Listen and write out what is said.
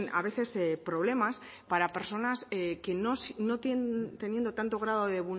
a veces problemas para personas que no teniendo tanto grado de